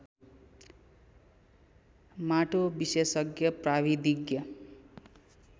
माटो विशेषज्ञ प्राविधिज्ञ